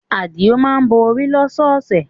Adio má ń bọ orí lọ́sọ̀ọ̀sẹ̀